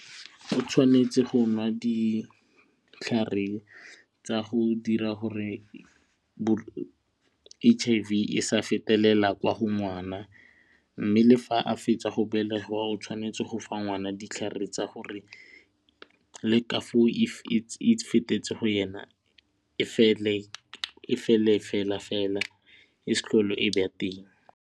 O tshwanetse go nwa ditlhare tsa go dira gore H_I_V e sa fetelela kwa go ngwana mme le fa a fetsa go belega o tshwanetse go fa ngwana ditlhare tsa gore le ka foo if e fetsetse go yena e fele e fele fela fela e se tlhole e ba teng.